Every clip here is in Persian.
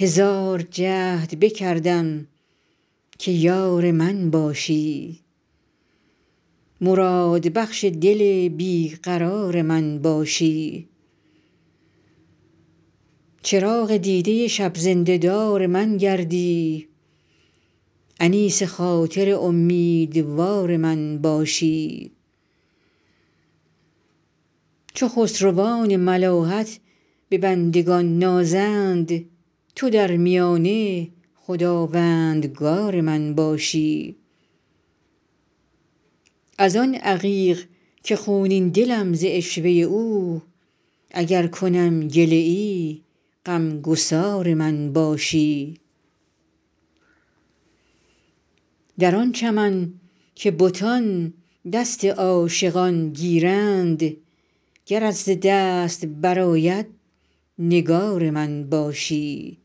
هزار جهد بکردم که یار من باشی مرادبخش دل بی قرار من باشی چراغ دیده شب زنده دار من گردی انیس خاطر امیدوار من باشی چو خسروان ملاحت به بندگان نازند تو در میانه خداوندگار من باشی از آن عقیق که خونین دلم ز عشوه او اگر کنم گله ای غم گسار من باشی در آن چمن که بتان دست عاشقان گیرند گرت ز دست برآید نگار من باشی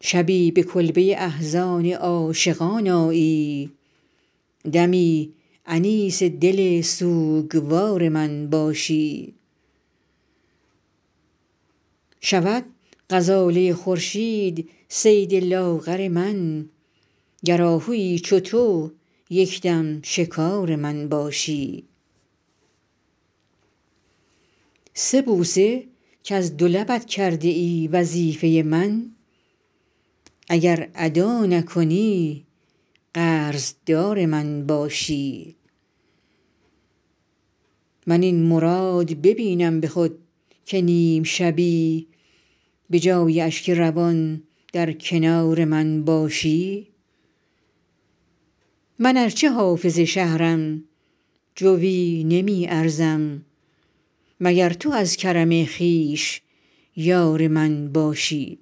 شبی به کلبه احزان عاشقان آیی دمی انیس دل سوگوار من باشی شود غزاله خورشید صید لاغر من گر آهویی چو تو یک دم شکار من باشی سه بوسه کز دو لبت کرده ای وظیفه من اگر ادا نکنی قرض دار من باشی من این مراد ببینم به خود که نیم شبی به جای اشک روان در کنار من باشی من ار چه حافظ شهرم جویی نمی ارزم مگر تو از کرم خویش یار من باشی